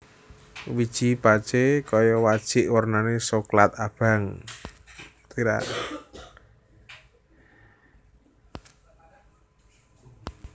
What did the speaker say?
Wiji pacé kaya wajik wernané soklat abang